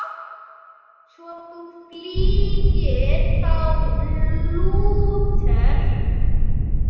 Svo þú fylgir þá Lúter?